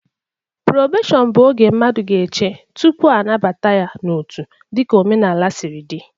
Probeshọn bụ oge mmadụ ga-eche tụpụ anabata ya n'otu dịka omenala siri dị